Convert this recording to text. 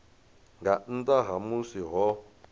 nga nnḓa ha musi ho